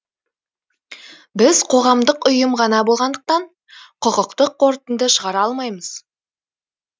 біз қоғамдық ұйым ғана болғандықтан құқықтық қорытынды шығара алмаймыз